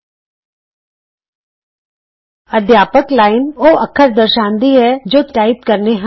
teacher ਅਧਿਆਪਕ teacher line ਉਹ ਅੱਖਰ ਦਰਸਾਂਦੀ ਹੈ ਜੋ ਤੁਸੀਂ ਟਾਈਪ ਕਰਨੇ ਹਨ